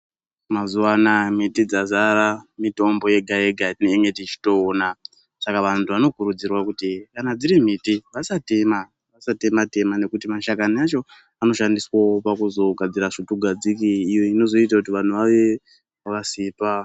Mazuwa anaya miti dzazara, mitombo yega-yega yatinenge tichitoona, saka vantu vanokurudzirwa kuti kana dziri miti vasatema, vasatema-tema nekuti mashakani acho anoshandiswawo pakuzogadzira svutugadzike iyo inozoita kuti vanhu vave vakasimba.